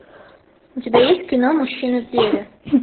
у тебя есть кино мужчины в деле